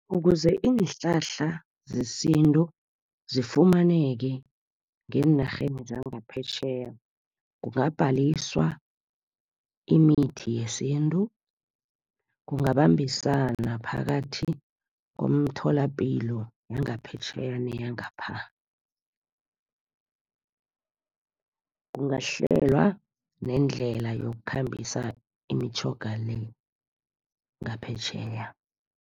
Ukuze iinhlahla zesintu zifumaneke ngeenarheni zangaphetjheya, kungabhaliswa imithi yesintu. Kungabambiswana phakathi komtholapilo yangaphetjheya neyangapha. Kungahlelwa nendlela yokukhambisa imitjhoga le, ngaphetjheya.